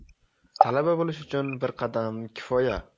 Talaba bo‘lish uchun bir qadam kifoya!.